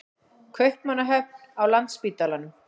Kaupmannahöfn, á Landspítalanum.